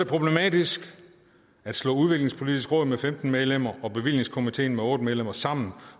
problematisk at slå udviklingspolitisk råd med femten medlemmer og bevillingskomitéen med otte medlemmer sammen